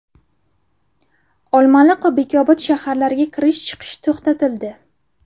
Olmaliq va Bekobod shaharlariga kirish-chiqish to‘xtatildi.